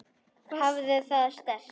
Hafðu það sterkt.